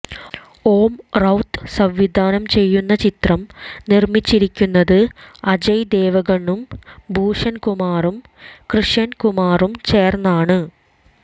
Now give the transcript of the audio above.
ഓം റൌത്ത് സംവിധാനം ചെയ്യുന്ന ചിത്രം നിർമിച്ചിരിക്കുന്നത് അജയ് ദേവ്ഗണും ഭൂഷൺ കുമാറും കൃഷൻ കുമാറും ചേർന്നാണ്